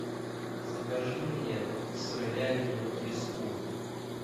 закажи мне сыровяленую треску